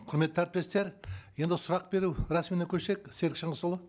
құрметті әріптестер енді сұрақ беру рәсіміне көшейік серік шыңғысұлы